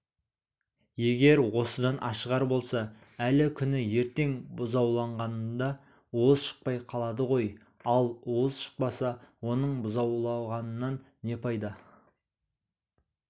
егер осыдан ашығар болса әлі күні ертең бұзаулағанында уыз шықпай қалады ғой ал уыз шықпаса оның бұзаулағанынан не пайда